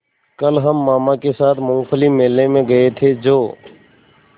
कल हम मामा के साथ मूँगफली मेले में गए थे जो